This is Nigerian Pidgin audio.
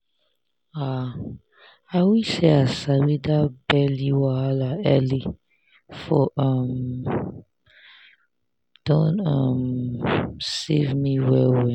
ah i wish say i sabi that belly wahala early for um don um save me well well